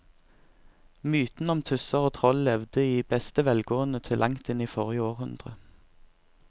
Mytene om tusser og troll levde i beste velgående til langt inn i forrige århundre.